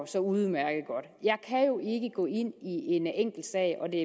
så udmærket godt gå ind i en enkeltsag og det